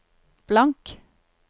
blank